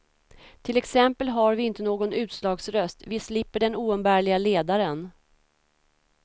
Till exempel har vi inte någon utslagsröst, vi slipper den oumbärliga ledaren.